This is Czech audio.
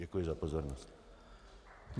Děkuji za pozornost.